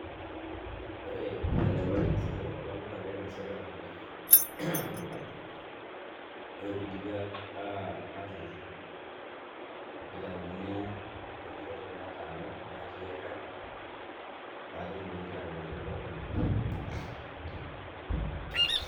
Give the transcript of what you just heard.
Ore enikunari enasiai tenkop ang', naa keng'asi ake atur emukunda, ore pidipi atutur, nitauni intokiting' torrok nataana natii olchamba, pa ketumokini taa atipik empeku ekuna.